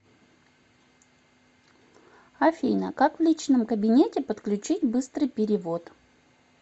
афина как в личном кабинете подключить быстрый перевод